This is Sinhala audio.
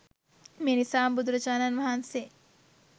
මේ නිසාම බුදුරජාණන් වහන්සේ